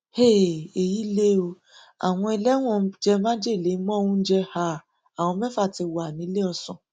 um èyí lè o àwọn ẹlẹwọn jẹ májèlé mọ oúnjẹ um àwọn mẹfà tí wà níléeọsán